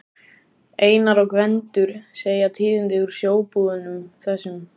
Einar og Gvendur segja tíðindi úr sjóbúðunum, þessum